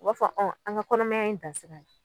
O B'a fɔ ɔn an ga kɔnɔmaya in dan sira ye